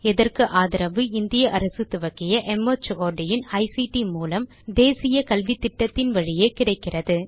இதற்கு ஆதரவு இந்திய அரசு துவக்கிய மார்ட் இன் ஐசிடி மூலம் தேசிய கல்வித்திட்டத்தின் வழியே கிடைக்கிறது